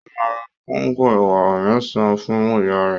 Ó máa ra kóńgò ẹ̀wà mẹ́sàn-án fún ìyá rẹ̀.